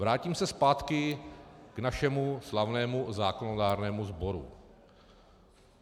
Vrátím se zpátky k našemu slavnému zákonodárnému sboru.